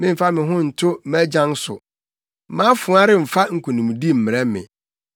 Memmfa me ho nto mʼagyan so, mʼafoa remfa nkonimdi mmrɛ me;